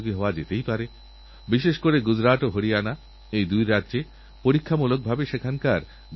আর যখন আমরাইনকিউবেশন সেন্টারএর কথা বলেছিলাম তখন চার হাজারেরও বেশি শিক্ষাদানকারী ওঅন্যান্য প্রতিষ্ঠান আবেদন জানিয়েছিল